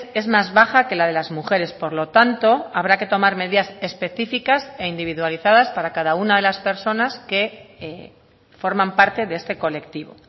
es más baja que la de las mujeres por lo tanto habrá que tomar medidas específicas e individualizadas para cada una de las personas que forman parte de este colectivo